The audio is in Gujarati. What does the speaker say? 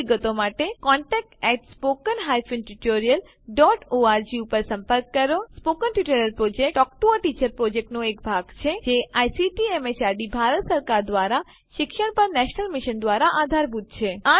વધુ વિગતો માટે contactspoken tutorialorg ઉપર સંપર્ક કરો સ્પોકન ટ્યુટોરીયલ પ્રોજેક્ટ એ ટોક ટુ અ ટીચર પ્રોજેક્ટનો ભાગ છે જે આઇસીટી એમએચઆરડી ભારત સરકાર દ્વારા શિક્ષણ પર નેશનલ મિશન દ્વારા આધારભૂત છે